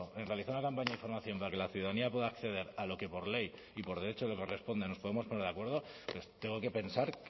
en realizar una campaña de información para que la ciudadanía pueda acceder a lo que por ley y por derecho le corresponde nos podemos poner de acuerdo tengo que pensar